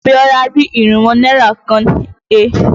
Abíọ́lá rí irínwó náírà kan he.